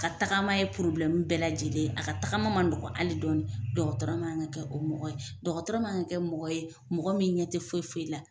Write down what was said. Ka tagama ye purbilɛmu bɛɛ lajɛlen ye, a ka tagama man nɔgɔ ali dɔɔni, dɔgɔtɔrɔma man kan kɛ mɔgɔ ye mɔgɔ min ɲɛ tɛ foyi foyi la.